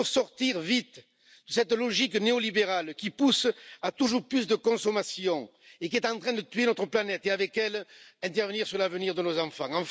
Il nous faut sortir vite de cette logique néolibérale qui pousse à toujours plus de consommation et qui est en train de tuer notre planète, et avec elle, d'intervenir sur l'avenir de nos enfants.